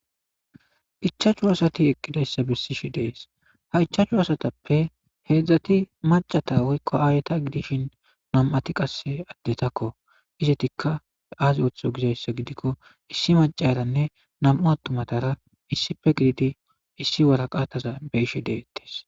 Ichachu asati eqqidayssa bessi shi dees ha ichachu asatappe heedzdzati macata woykko aayeta gidishin nam'ati qasse addetakko izetikka aazi ooththo gizayssa gidikko issi macaranne nam'u attumatara issife gididi issi waraqataza beishe deettes.